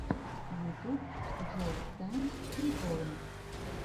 ютуб джоукс тайм приколы